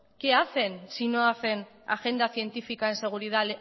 qué hacen si no hacen agenda científica en seguridad